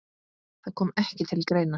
Það kom ekki til greina.